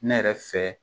Ne yɛrɛ fɛ